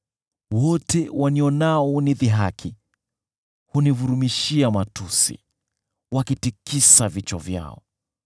Wote wanionao hunidhihaki, hunivurumishia matusi, wakitikisa vichwa vyao: